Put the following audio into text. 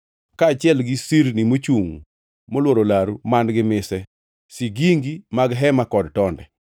kaachiel gi sirni mochungʼ molworo laru man-gi mise, sigingi mag hema kod tonde.